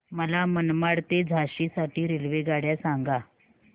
मला मनमाड ते झाशी साठी रेल्वेगाड्या सांगा